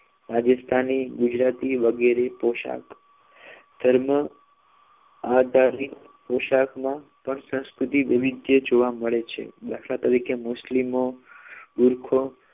રાજસ્થાની ગુજરાતી વગેરે પોશાક ધર્મ આધારિત પોશાકમાં પણ સંસ્કૃતિ વિવિધય જોવા મળે છે દાખલા તરીકે મુસ્લિમ બુરખો